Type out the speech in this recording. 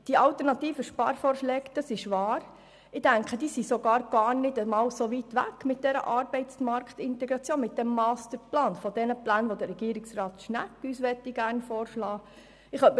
Die alternativen Sparvorschläge mit der Arbeitsmarktintegration und dem Masterplan sind wahrhaftig nicht so weit von den Plänen entfernt, die Regierungsrat Schnegg uns gerne vorschlagen möchte.